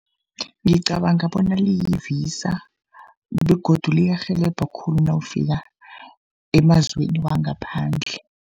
Ngicabanga bona liyi-Visa begodu liyarhelebha khulu nawufika emazweni wangaphandle.